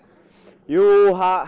jú